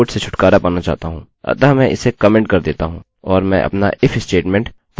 अब मैं इस कोड से छुटकारा पाना चाहता हूँ अतः मैं इसे कमेन्टcomment कर देता हूँ